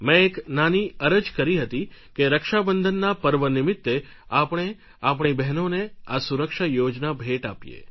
મેં એક નાની અરજ કરી હતી કે રક્ષાબંધનના પર્વ નિમિત્તે આપણે આપણી બહેનોને આ સુરક્ષા યોજના ભેટ આપીએ